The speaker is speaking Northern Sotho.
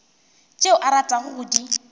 tšeo o ratago go di